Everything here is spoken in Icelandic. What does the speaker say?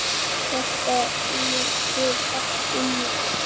Þetta liggur allt inni